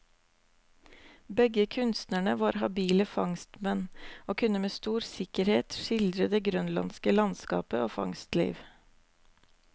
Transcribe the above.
Begge kunstnerne var habile fangstmenn, og kunne med stor sikkerhet skildre det grønlandske landskap og fangstliv.